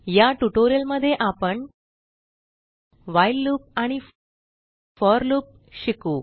या ट्यूटोरियल मध्ये आपण व्हाईल लूप आणि फोर लूप शिकू